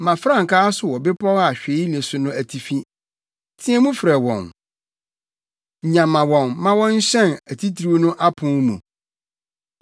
Ma frankaa so wɔ bepɔw a hwee nni so no atifi, teɛ mu frɛ wɔn: nyama wɔn ma wɔnhyɛn atitiriw no apon mu.